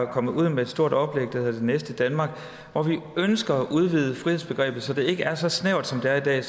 kommet ud med et stort oplæg der hedder det næste danmark hvor vi ønsker at udvide frihedsbegrebet så det ikke er så snævert som det er i dag